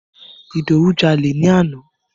Ìdòwú jalè ni àná.